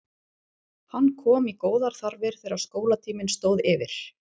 Hann kom í góðar þarfir þegar skólatíminn stóð yfir.